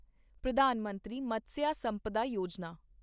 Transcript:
ਪ੍ਰਧਾਨ ਮੰਤਰੀ ਮਤਸਿਆ ਸੰਪਦਾ ਯੋਜਨਾ